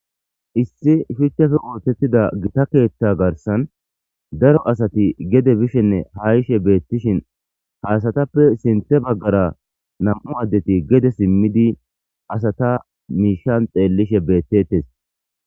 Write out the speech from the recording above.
issi shuchchafe ootettida gita keetta garsan daro asati gede bishenne haishe beettishin haasatappe sinthe baggara nam7u addeti gede simmidi asata miishan xeellishe beettettes